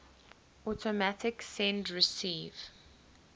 automatic send receive